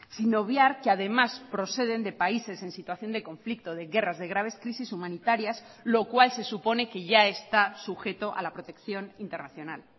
sin obviar que además proceden de países en situación de conflicto de guerras de graves crisis humanitarias lo cual se supone que ya está sujeto a la protección internacional